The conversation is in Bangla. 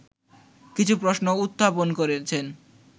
কিছু প্রশ্ন উত্থাপন করেছেন